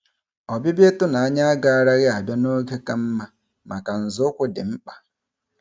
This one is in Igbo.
Ọbịbịa ịtụnanya agaraghị abịa n'oge ka mma maka nzọụkwụ dị mkpa